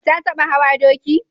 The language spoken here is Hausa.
Ta taɓa hawa doki?